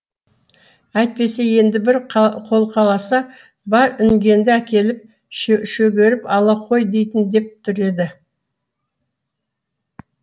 әйтпесе енді бір қолқаласа бар інгеніңді әкеліп шөгеріп ала қой дейін деп тұр еді